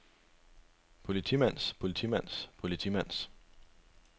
politimands politimands politimands